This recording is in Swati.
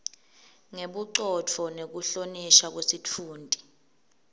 ngebucotfo nekuhlonishwa kwesitfunti